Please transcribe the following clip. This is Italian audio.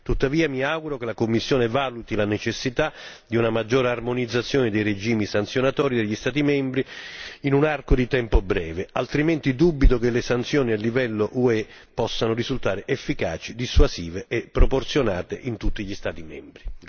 Tuttavia, mi auguro che la Commissione valuti la necessità di una maggiore armonizzazione dei regimi sanzionatori degli Stati membri in un arco di tempo breve, altrimenti dubito che le sanzioni a livello UE possano risultare efficaci, dissuasive e proporzionate in tutti gli Stati membri.